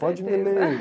Pode me ler.